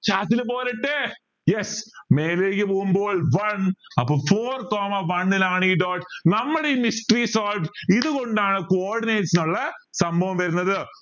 പോരട്ടെ മേലേക്ക് പോകുമ്പോൾ one അപ്പോ four come one ൽ ആണ് ഈ dot നമ്മളെ ഈ mystery solve ഇതുകൊണ്ടാണ് ഈ cordinates